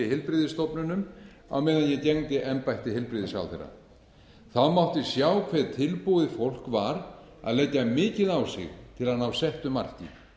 heilbrigðisstofnunum á meðan ég gegndi embætti heilbrigðisráðherra mátti sjá hve tilbúið fólk var að leggja mikið á sig til að ná settu marki